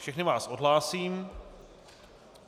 Všechny vás odhlásím.